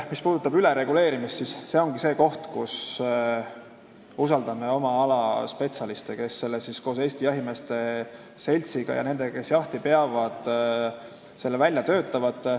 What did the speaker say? Mis puudutab ülereguleerimist, siis see ongi see koht, kus peab usaldama oma ala spetsialiste, kes selle määruse koos Eesti Jahimeeste Seltsiga ja nendega, kes jahti peavad, välja töötavad.